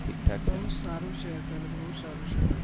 બહુ જ સારું છે અત્યારે તો